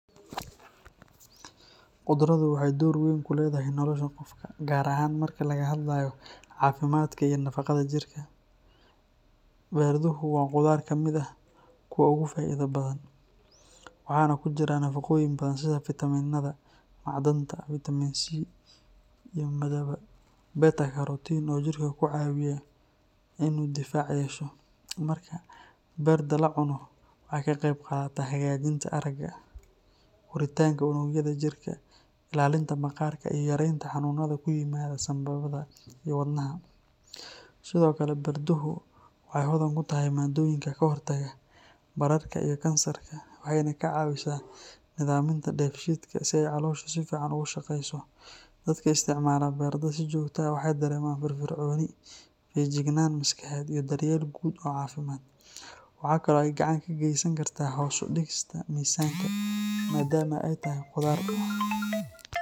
Maxay door weyn ku leeyihiin beertuha, gaar ahaan marka laga hadlayo caafimaadka iyo nafaqada jirka? Beertuhu waa khudaar ka mid ah kuwa ugu faa’iidada badan ee la cuno. Waxay hodan ku yihiin nafaqooyin badan sida fiitamiinnada iyo macdanta, gaar ahaan Vitamin C iyo beta-carotene, kuwaas oo ka caawiya jirka inuu yeesho difaac adag. Marka beerta la cuno, waxay ka qeyb qaadataa hagaajinta aragga, koritaanka unugyada jirka, ilaalinta maqaarka, iyo yareynta xanuunnada sida sanboorka iyo xanuunnada wadnaha. Sidoo kale, beertuhu waxay caan ku yihiin maaddooyinka ka hortaga bararka iyo kansarka, iyadoo ay jirka ka taageeraan dhinaca difaaca dabiiciga ah. Waxay sidoo kale ka caawisaa nidaaminta dheefshiidka, taasoo keenaysa in caloosha si fiican u shaqeyso. Dadka si joogto ah u isticmaala beertuha waxay dareemaan fiiro dheeri ah, feejignaan maskaxeed, iyo daryeel guud oo caafimaad. Intaa waxaa dheer, beertuhu waxay ka qeyb qaadan karaan hoos u dhigidda miisaanka, maadaama ay yihiin khudaar dufan yar leh oo nafaqo badan.